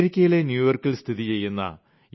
അമേരിക്കയിലെ ന്യൂയോർക്കിൽ സ്ഥിതി ചെയ്യുന്ന യു